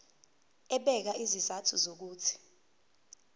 ebeka izizathu zokuthi